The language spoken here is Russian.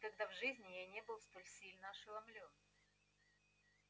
никогда в жизни я не был столь сильно ошеломлён